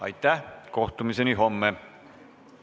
Aitäh ja kohtumiseni homme!